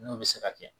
N'o bɛ se ka kɛ